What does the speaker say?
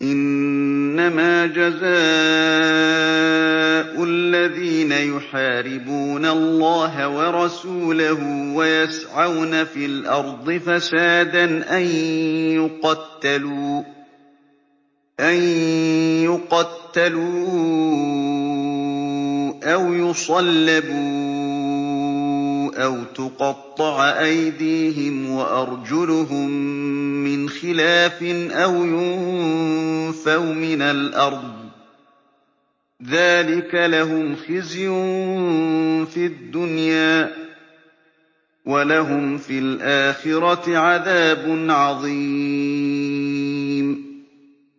إِنَّمَا جَزَاءُ الَّذِينَ يُحَارِبُونَ اللَّهَ وَرَسُولَهُ وَيَسْعَوْنَ فِي الْأَرْضِ فَسَادًا أَن يُقَتَّلُوا أَوْ يُصَلَّبُوا أَوْ تُقَطَّعَ أَيْدِيهِمْ وَأَرْجُلُهُم مِّنْ خِلَافٍ أَوْ يُنفَوْا مِنَ الْأَرْضِ ۚ ذَٰلِكَ لَهُمْ خِزْيٌ فِي الدُّنْيَا ۖ وَلَهُمْ فِي الْآخِرَةِ عَذَابٌ عَظِيمٌ